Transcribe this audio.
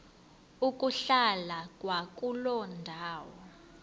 ukuhlala kwakuloo ndawo